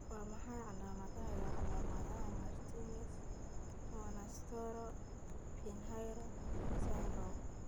Waa maxay calaamadaha iyo calaamadaha Martinez Monastero Pinheiro syndrome?